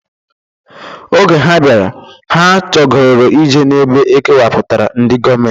Oge ha bịara, ha chogoro ije n'ebe e kewapụtara ndị gọọmentị.